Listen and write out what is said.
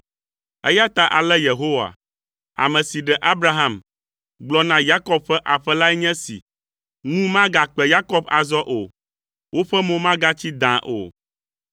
Eya ta ale Yehowa, ame si ɖe Abraham, gblɔ na Yakob ƒe aƒe lae nye esi, “Ŋu magakpe Yakob azɔ o. Woƒe mo magatsi dãa o.